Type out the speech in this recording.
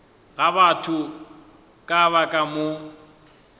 ga batho ba ka moka